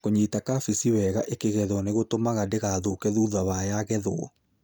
Kũnyita kabeci wega ĩkĩgethwo nĩgũtũmaga ndĩgathũke thutha wa yagethwo.